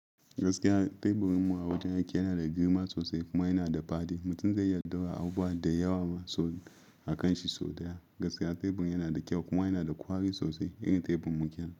Gaskiya teburinmu a wajen aiki yana da girma sosai kuma yana da faɗi. Mutum zai iya dogara abubuwa da yawa ma sau akan shi sau da yawa. Gaskiya teburin yana da kyau kuma yana da ƙwari sosai irin teburmu ƙenan.